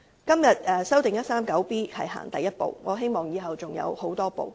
今天修訂第 139B 章只是第一步，我期望以後還會有很多步。